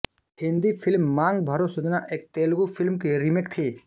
Hindi film Maang Bharo Sajana एक Telugu film की remake थी